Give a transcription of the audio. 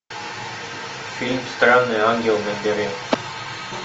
фильм странный ангел набери